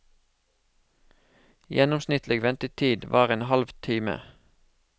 Gjennomsnittlig ventetid var en halv time.